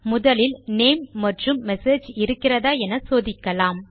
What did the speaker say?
முதலில் நேம் மற்றும் மெசேஜ் இருக்கிறதா என சோதிக்கலாம்